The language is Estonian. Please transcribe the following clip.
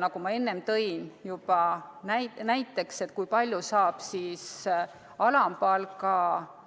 Nagu ma enne juba näiteks tõin, kui palju saab alampalga